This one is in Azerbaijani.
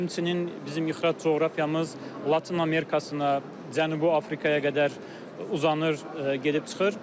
Həmçinin bizim ixrac coğrafiyamız Latın Amerikasına, Cənubi Afrikaya qədər uzanır, gedib çıxır.